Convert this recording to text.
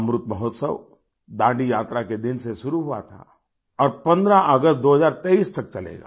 अमृत महोत्सव दांडी यात्रा के दिन से शुरू हुआ था और 15 अगस्त 2023 तक चलेगा